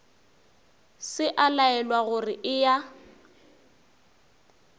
se a laelwa gore eya